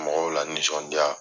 Mɔgɔw lanisɔndiya.